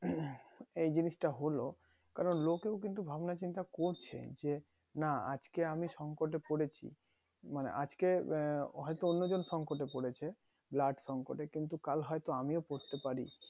এই জিনিসটা হলো কারণ লোকেও কিন্তু ভাবনা চিন্তা করছে যে না আজকে আমি সংকট এ পড়েছি মানে আজকে আহ অন্য জন সংকট এ পড়েছে blood সংকটে কিন্তু কাল হয়তো আমিও পড়তে পারি